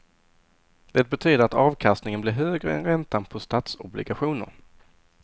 Det betyder att avkastningen blir högre än räntan på statsobligationer.